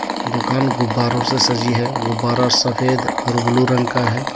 दुकान गुबारों से सजी है गुबारा सफेद और ब्लू रंग का है.